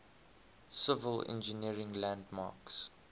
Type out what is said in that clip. civil engineering landmarks